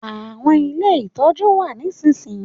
Àwọn ilé ìtọ́jú n wa nisinsinyi